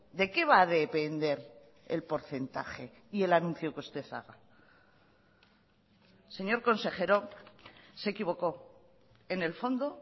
de qué va a depender el porcentaje y el anuncio que usted haga señor consejero se equivocó en el fondo